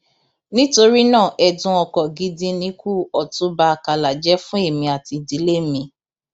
nítorí náà ẹdùn ọkàn gidi nikú ọtúnba àkàlà jẹ fún èmi àti ìdílé mi